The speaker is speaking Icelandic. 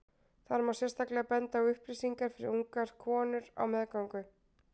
þar má sérstaklega benda á upplýsingar fyrir ungar konur á meðgöngu